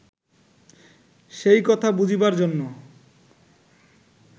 সেই কথা বুঝিবার জন্য